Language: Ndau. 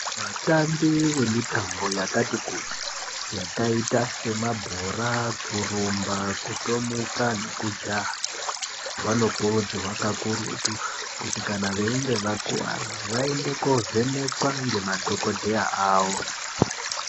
Vatambi vemitambo yakati kuti Yakaita semabhora kurumba nekutomuka nekujaha vanokurudzirwa kakurutu kuti kana veinge vakuwara vaende kundovhenekwa nemadhokodheya avo.